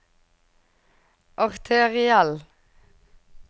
arteriell